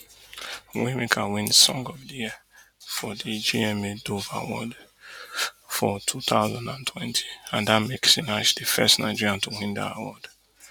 waymaker win song of di year for di gma dove awards for two thousand and twenty and dat make sinach di first nigerian to win dat award